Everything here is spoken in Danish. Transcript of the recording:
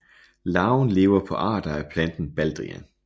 Larven lever på arter af planten baldrian